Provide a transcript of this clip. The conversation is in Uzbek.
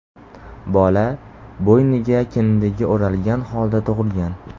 Bola bo‘yniga kindigi o‘ralgan holda tug‘ilgan.